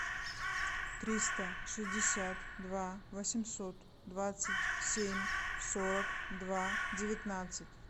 триста шестьдесят два восемьсот двадцать семь сорок два девятнадцать